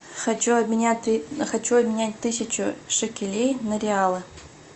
хочу обменять хочу обменять тысячу шекелей на реалы